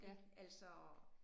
Ik altså